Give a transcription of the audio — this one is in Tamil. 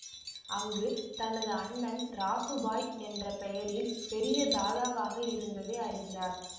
அங்கு தனது அண்ணன் ராசு பாய் என்ற பெயரில் பெரிய தாதாவாக இருந்ததை அறிகிறார்